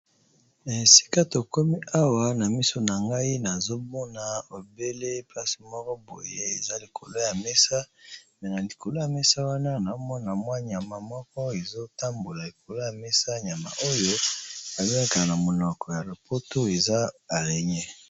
Esika tokomi awa na miso na ngai nazomona obele place moko boye eza likolo ya mesa mais na likolo ya mesa wana na mona mwa nyama moko ezo tambola likolo ya mesa nyama oyo ba bengaka na monoko ya lopoto eza arraigne.